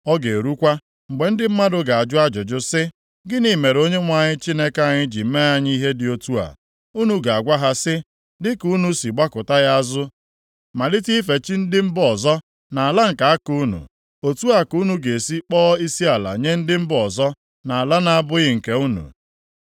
Ọ ga-erukwa, mgbe ndị mmadụ ga-ajụ ajụjụ sị, ‘Gịnị mere Onyenwe anyị Chineke anyị ji mee anyị ihe dị otu a?’ Unu ga-agwa ha sị, ‘Dịka unu si gbakụta ya azụ malite ife chi ndị mba ọzọ nʼala nke aka unu, otu a ka unu ga-esi kpọọ isiala nye ndị mba ọzọ nʼala na-abụghị nke unu.’